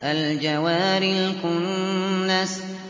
الْجَوَارِ الْكُنَّسِ